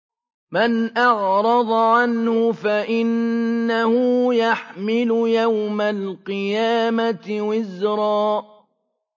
مَّنْ أَعْرَضَ عَنْهُ فَإِنَّهُ يَحْمِلُ يَوْمَ الْقِيَامَةِ وِزْرًا